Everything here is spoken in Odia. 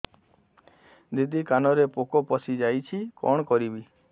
ଦିଦି କାନରେ ପୋକ ପଶିଯାଇଛି କଣ କରିଵି